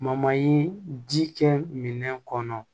ji kɛ minɛn kɔnɔ